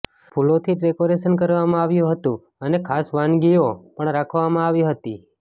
ફૂલોથી ડેકોરેશન કરવામાં આવ્યું હતું અને ખાસ વાનગીઓ પણ રાખવમાં આવી હતી